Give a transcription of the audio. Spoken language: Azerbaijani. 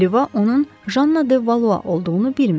Oliva onun Janna de Valua olduğunu bilmirdi.